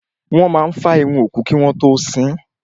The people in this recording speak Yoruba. Wọ́n máa fá irun òkú kí wọ́n tó sín.